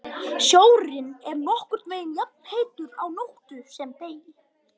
Sjórinn er nokkurn veginn jafnheitur á nóttu sem degi.